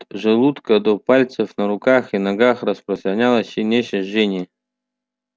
от желудка до пальцев на руках и ногах распространялось сильнейшее жжение